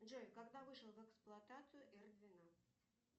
джой когда вышел в эксплуатацию эр двенадцать